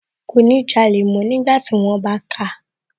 Kò ní jalè mọ́ nígbàtí wón bá káa